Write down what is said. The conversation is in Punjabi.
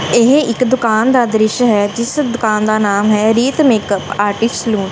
ਇਹ ਇੱਕ ਦੁਕਾਨ ਦਾ ਦ੍ਰਿਸ਼ ਹੈ ਜਿਸ ਦੁਕਾਨ ਦਾ ਨਾਮ ਹੈ ਰੀਤ ਮੇਕਅੱਪ ਆਰਟਿਸਟ ਸੈਲੂਨ ।